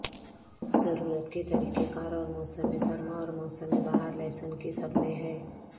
ضرورت کے طریقہ کار اور موسم سرما اور موسم بہار لہسن کی سب میں ہے